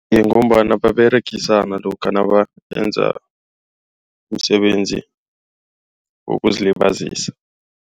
Ngombana baberegisa nalokha nabenza umsebenzi wokuzilibazisa.